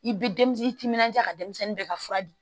I bɛ denmisɛnnin timinandiya ka denmisɛnnin bɛɛ ka fura di